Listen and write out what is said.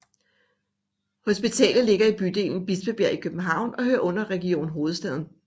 Hospitalet ligger i bydelen Bispebjerg i København og hører under Region Hovedstaden